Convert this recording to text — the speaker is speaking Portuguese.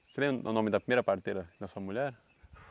Você lembra o nome da primeira parteira da sua mulher?